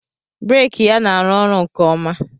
breeki ya na-arụ ọrụ nke ọma